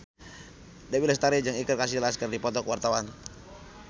Dewi Lestari jeung Iker Casillas keur dipoto ku wartawan